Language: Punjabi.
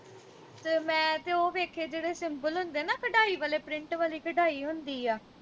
ਮੈਂ ਤੇ ਉਹ ਵੇਖੇ ਜਿਹੜੇ simple ਹੁੰਦੇ ਨਾ ਕਢਾਈ ਵਾਲੇ print ਵਾਲੀ ਕਢਾਈ ਹੁੰਦੀ ਆ